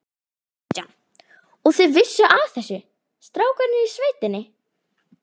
Kristján: Og þið vissuð af þessu, strákarnir í sveitinni?